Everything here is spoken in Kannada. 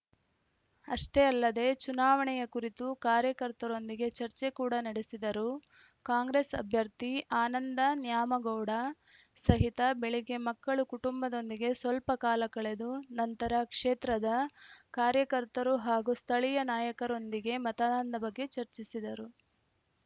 ಅಷ್ಟೇ ಅಲ್ಲದೇ ಚುನಾವಣೆಯ ಕುರಿತು ಕಾರ್ಯಕರ್ತರೊಂದಿಗೆ ಚರ್ಚೆ ಕೂಡಾ ನಡೆಸಿದರು ಕಾಂಗ್ರೆಸ್‌ ಅಭ್ಯರ್ಥಿ ಆನಂದ ನ್ಯಾಮಗೌಡ ಸಹಿತ ಬೆಳಿಗ್ಗೆ ಮಕ್ಕಳುಕುಟುಂಬದೊಂದಿಗೆ ಸ್ವಲ್ಪ ಕಾಲ ಕಳೆದು ನಂತರ ಕ್ಷೇತ್ರದ ಕಾರ್ಯಕರ್ತರು ಹಾಗೂ ಸ್ಥಳೀಯ ನಾಯಕರೊಂದಿಗೆ ಮತದಾನದ ಬಗ್ಗೆ ಚರ್ಚಿಸಿದರು